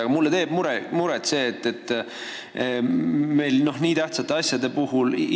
Aga mulle teeb muret otsustusprotsess riigile nii tähtsate asjade puhul.